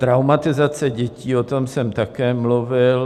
Traumatizace dětí, o tom jsem také mluvil.